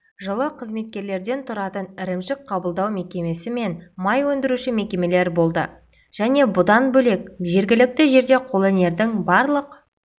жылы қызметкерден тұратын ірімшік қабылдау мекемесі мен май өндіруші мекемелер болды және бұдан бөлек жергілікті жерде қолөнердің барлық